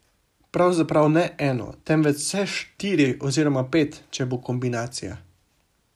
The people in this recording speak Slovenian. Pravzaprav ne eno, temveč vse štiri oziroma pet, če bo kombinacija.